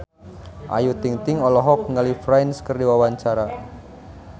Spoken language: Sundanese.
Ayu Ting-ting olohok ningali Prince keur diwawancara